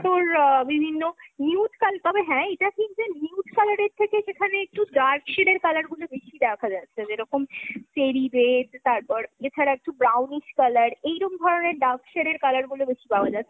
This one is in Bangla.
তোর বিভিন্ন nude তবে হ্যাঁ এটা ঠিক যে nude colour এর থেকে সেখানে একটু dark shade র colour গুলো বেশি দেখা যাচ্ছে। যেরকম cherry red, তারপর এছাড়া একটু brownish colour। এইরম ধরণের dark shade র colour গুলো একটু বেশি পাওয়া যাচ্ছে,